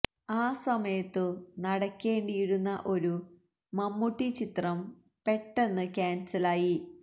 ആ സമയത്തു നടക്കേണ്ടിയിരുന്ന ഒരു മമ്മൂട്ടി ചിത്രം പെട്ടന്ന് ക്യാൻസൽ ആയി